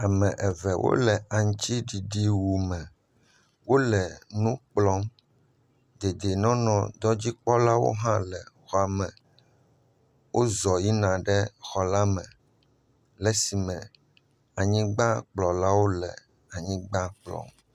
Ame eve wole aŋutiɖiɖi wu wo me. Wòle anyigba kplɔm. Dedienɔnɔdɔdzikpɔlawo hã nɔ xɔa me. Wo zɔ yina xɔ la me le si me anyi kpɔlawo nɔ anyigba kplɔm.